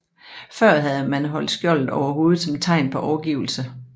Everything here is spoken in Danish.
Før havde man holdt skjoldet over hovedet som tegn på overgivelse